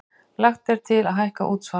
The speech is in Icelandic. Lagt til að hækka útsvar